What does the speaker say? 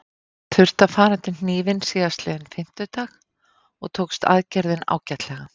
Hann þurfti að fara undir hnífinn síðastliðinn fimmtudag og tókst aðgerðin ágætlega.